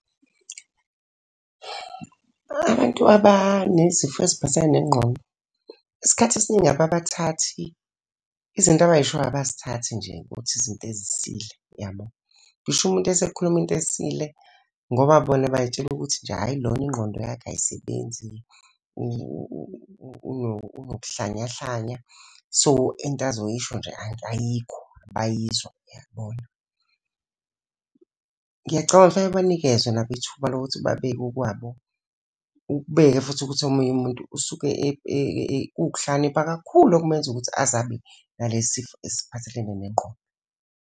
Abantu abanezifo eziphathelene nengqondo, isikhathi esiningi ababathathi, izinto abayishoyo abazithathi nje ukuthi izinto ezisile, yabo. Ngisho umuntu esekhuluma into esile ngoba bona bayitshela ukuthi nje, hhayi lona ingqondo yakhe ayisebenzi unokuhlanyahlanya, so into asazoyisho nje ayikho, abayizwa, yabona. Ngiyacabanga ngifake banikezwe nabo ithuba lokuthi babeke okwabo. Uqhubeke futhi ukuthi omunye umuntu usuke kuwukuhlakanipha kakhulu okumenza ukuthi aze abe nalesi sifo eziphathelene nengqondo.